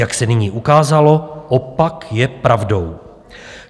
Jak se nyní ukázalo, opak je pravdou.